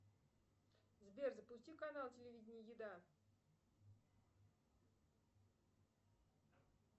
сбер запусти канал телевидения еда